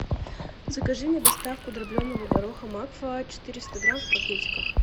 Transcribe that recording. закажи мне доставку дробленого гороха макфа четыреста грамм в пакетиках